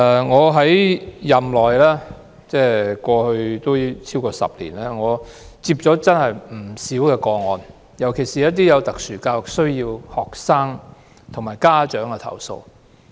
我擔任議員超過10年，收過不少投訴個案，尤其是有特殊教育需要的學生和家長的投訴。